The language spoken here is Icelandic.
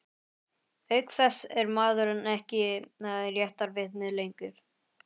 Auk þess er maðurinn ekkert réttarvitni lengur.